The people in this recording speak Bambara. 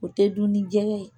O tɛ dun ni jɛkɛ ye